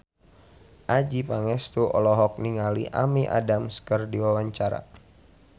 Adjie Pangestu olohok ningali Amy Adams keur diwawancara